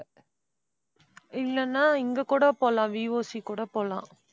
இல்லைன்னா இங்க கூட போலாம். VOC கூட போலாம்